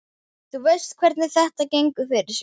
Þú veist hvernig þetta gengur fyrir sig.